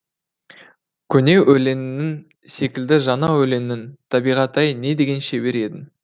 көне өлеңің секілді жаңа өлеңің табиғат ай не деген шебер едің